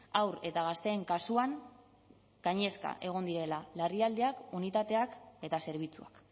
haur eta gazteen kasuan gainezka egon direla larrialdiak unitateak eta zerbitzuak